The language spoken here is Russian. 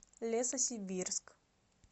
лесосибирск